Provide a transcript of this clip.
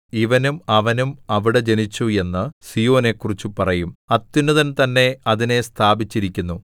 ഇവനും അവനും അവിടെ ജനിച്ചു എന്ന് സീയോനെക്കുറിച്ച് പറയും അത്യുന്നതൻ തന്നെ അതിനെ സ്ഥാപിച്ചിരിക്കുന്നു